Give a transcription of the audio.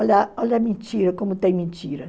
Olha olha a mentira, como tem mentira.